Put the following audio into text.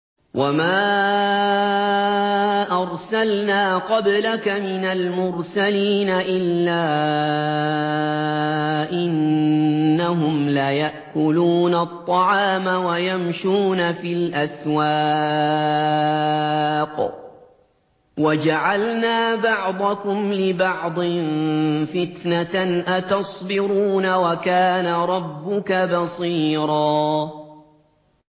وَمَا أَرْسَلْنَا قَبْلَكَ مِنَ الْمُرْسَلِينَ إِلَّا إِنَّهُمْ لَيَأْكُلُونَ الطَّعَامَ وَيَمْشُونَ فِي الْأَسْوَاقِ ۗ وَجَعَلْنَا بَعْضَكُمْ لِبَعْضٍ فِتْنَةً أَتَصْبِرُونَ ۗ وَكَانَ رَبُّكَ بَصِيرًا